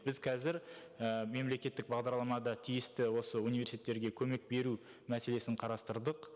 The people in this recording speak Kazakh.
біз қазір і мемлекеттік бағдарламада тиісті осы университеттерге көмек беру мәселесін қарастырдық